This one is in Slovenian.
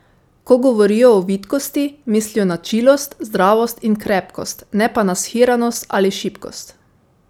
Ko govorijo o vitkosti, mislijo na čilost, zdravost in krepkost, ne pa shiranost ali šibkost.